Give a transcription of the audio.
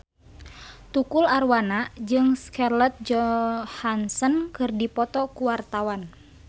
Tukul Arwana jeung Scarlett Johansson keur dipoto ku wartawan